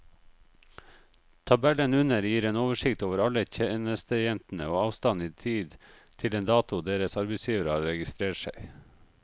Tabellen under gir en oversikt over alle tjenestejentene og avstanden i tid til den datoen deres arbeidsgivere har registrert seg.